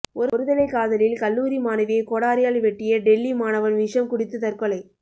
ஒருதலை காதலில் கல்லூரி மாணவியை கோடாரியால் வெட்டிய டெல்லி மாணவன் விஷம் குடித்து தற்கொலை